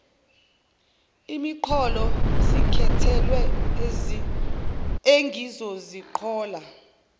isiqholo sekhethelo engizoziqhola